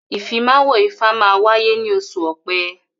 Ìfimáwo ifá máa wáyé ní oṣù ọ̀pẹ́